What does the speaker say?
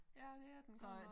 Ja det er den godt nok